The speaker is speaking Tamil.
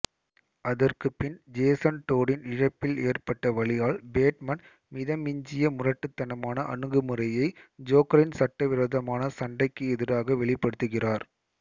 அதற்குபின் ஜெசன் டோடின் இழப்பில் ஏற்பட்ட வலியால் பேட்மேன் மிதமிஞ்சிய முரட்டுத்தனமான அணுகுமுறையை ஜோக்கரின் சட்டவிரோதமான சண்டைக்கு எதிராக வெளிப்படுத்துகிறார்